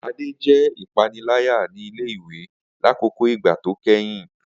Ade jẹ ipanilaya ni ile-iwe lakoko igba to kẹhin.